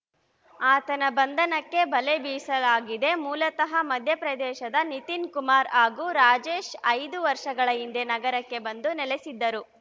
ಆತನ ಬಂಧನಕ್ಕೆ ಬಲೆ ಬೀಸಲಾಗಿದೆ ಮೂಲತಃ ಮಧ್ಯಪ್ರದೇಶದ ನಿತೀನ್ ಕುಮಾರ್‌ ಹಾಗೂ ರಾಜೇಶ್‌ ಐದು ವರ್ಷಗಳ ಹಿಂದೆ ನಗರಕ್ಕೆ ಬಂದು ನೆಲೆಸಿದ್ದರು